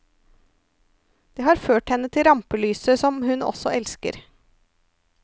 Det har ført henne til rampelyset, som hun også elsker.